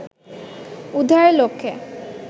উদ্ধারের লক্ষ্যে